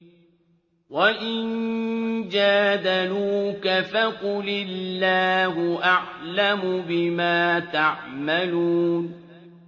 وَإِن جَادَلُوكَ فَقُلِ اللَّهُ أَعْلَمُ بِمَا تَعْمَلُونَ